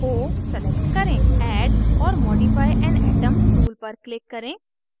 o select करें add or modify an atom tool पर click करें